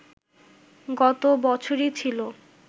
গত বছরই ছিল